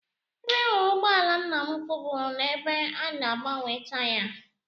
Ebe m hụrụ ụgbọala nna m ukwu bụ n'ebe a na-agbanwe taya